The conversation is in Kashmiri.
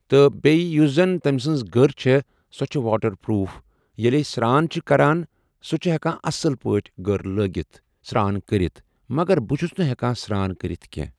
تہٕ بیٚیہِ یُس زن تٔمۍ سٕنٛز گٔر چھِ سۄ چھِ واٹر پروٗپھ ییٚلہِ أسۍ سٛران چھِ کران سُہ چھِ ہٮ۪کان اصٕل پٲٹھۍ گٔر لٲگِتھ سرٛان کٔرِتھ مگر بہٕ چھُس نہٕ ہٮ۪کان سرٛان کٔرِتھ کینٛہہ۔